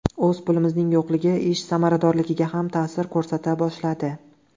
O‘z pulimizning yo‘qligi ish samaradorligiga ham ta’sir ko‘rsata boshladi.